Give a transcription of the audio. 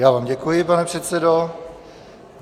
Já vám děkuji, pane předsedo.